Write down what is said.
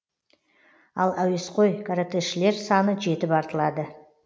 ал әуесқой каратэшілер саны жетіп артылады